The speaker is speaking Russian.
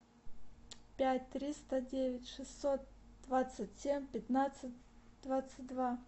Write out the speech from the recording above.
пять триста девять шестьсот двадцать семь пятнадцать двадцать два